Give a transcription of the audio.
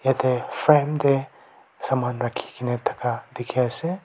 yate frame te saman rakhikena dekhi ase.